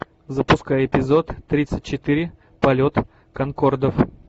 запускай эпизод тридцать четыре полет конкордов